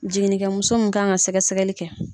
Jiginikɛmuso min ka kan ka sɛgɛsɛgɛli kɛ.